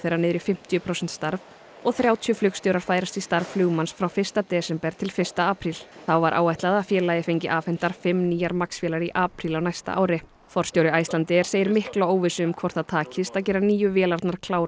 fara niður í fimmtíu prósent starf og þrjátíu flugstjórar færast í starf flugmanns frá fyrsta desember til fyrsta apríl þá var áætlað að félagið fengi afhentar fimm nýjar MAX vélar í apríl á næsta ári forstjóri Icelandair segir mikla óvissu um hvort það takist að gera nýju vélarnar klárar